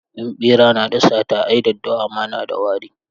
In ɓera na da sata ai daddawa ma na da wari.